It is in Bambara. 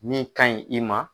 Min ka ɲi i ma.